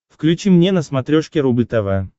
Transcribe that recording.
включи мне на смотрешке рубль тв